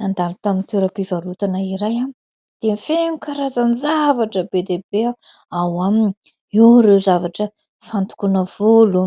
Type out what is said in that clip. Nandalo tamin'ny toerampivarotana iray aho dia feno karazan-javatra be dia be ao aminy. Eo ireo zavatra fandokoana volo,